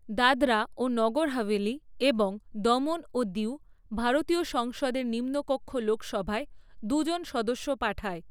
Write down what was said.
দাদরা ও নগর হাভেলি এবং দমন ও দিউ ভারতীয় সংসদের নিম্নকক্ষ লোকসভায় দুজন সদস্য পাঠায়।